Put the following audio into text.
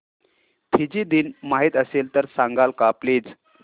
Fiji दिन माहीत असेल तर सांगाल का प्लीज